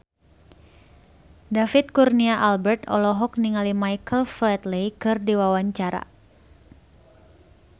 David Kurnia Albert olohok ningali Michael Flatley keur diwawancara